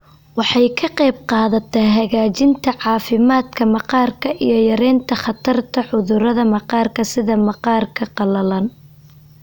Waxay ka qaybqaadataa hagaajinta caafimaadka maqaarka iyo yaraynta khatarta cudurrada maqaarka sida maqaarka qalalan.